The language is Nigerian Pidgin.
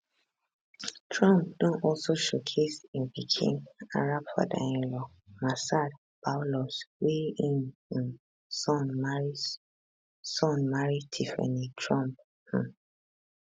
trump don also showcase im pikin arab fatherinlaw massad boulous wey im um son marry son marry tiffany trump um